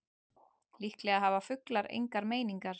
Líklega hafa fuglar engar meiningar.